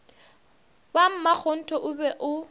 ba makgonthe o be o